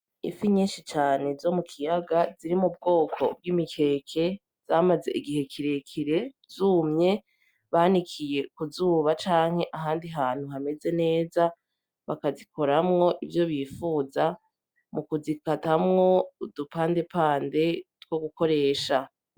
Îfi nyinshi cane zo mu kiyaga ziri mu bwoko bw'imikeke zamaze igihe kire kire zumye banikiye ku zuba canke ahandi hantu hameze neza bakazikuramwo ivyo bipfuza mu kuzikatamwo udu pande pande two gukoresha.